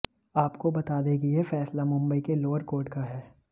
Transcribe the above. आपको बता दें कि यह फैसला मुंबई के लोअर कोर्ट का है